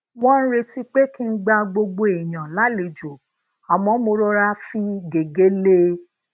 wón n retí pé kí n gba gbogbo èèyàn lálejò àmó mo rora fi gege lee